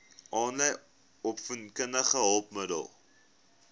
aanlyn opvoedkundige hulpmiddele